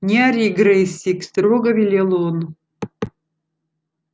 не ори грэйсик строго велел он